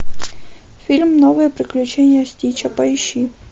фильм новые приключения стича поищи